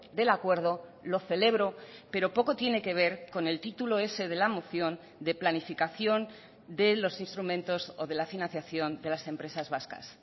del acuerdo lo celebro pero poco tiene que ver con el título ese de la moción de planificación de los instrumentos o de la financiación de las empresas vascas